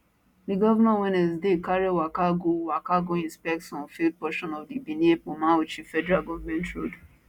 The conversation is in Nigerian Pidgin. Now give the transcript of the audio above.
di govnor on wednesday carry waka go waka go inspect some failed portion of di benin ekpoma auchi federal government road